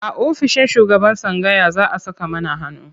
A ofishin shugaban tsangaya za a saka mana hannu.